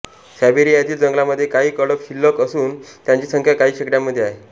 सायबेरीयातील जंगलामध्ये काही कळप शिल्ल्क असून त्यांची संख्या काही शेकड्यांमध्ये आहे